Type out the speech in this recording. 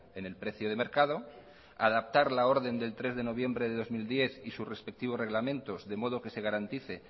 en el precio de mercado adaptar la orden del tres de noviembre de dos mil diez y sus respectivos reglamentos de modo que se garantice